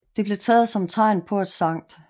Det blev taget som tegn på at Skt